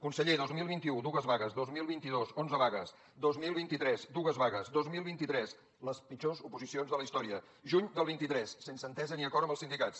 conseller dos mil vint u dues vagues dos mil vint dos onze vagues dos mil vint tres dues vagues dos mil vint tres les pitjors oposicions de la història juny del vint tres sense entesa ni acord amb els sindicats